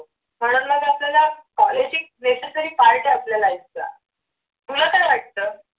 आपल्याला necessary part आहे आपल्या life चा तुला काय वाटत?